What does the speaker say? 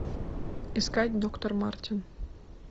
искать доктор мартин